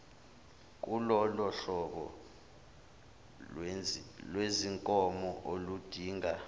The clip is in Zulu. kulolohlobo lwezinkomo oludinga